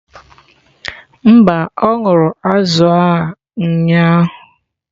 Mba, ọ ṅụrụ azụ̀ a ụnyahụ.